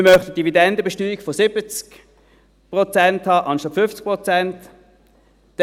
Wir möchten eine Dividendenbesteuerung von 70 Prozent anstatt 50 Prozent haben.